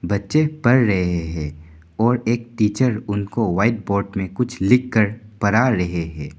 बच्चे पढ़ रहे है और एक टीचर उनको व्हाइट बोर्ड में कुछ लिखकर पढ़ा रहे हैं।